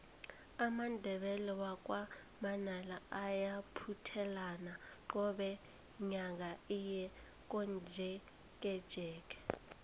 amandebele wakwa manala ayabuthelana qobe nyaka aye komjekejeke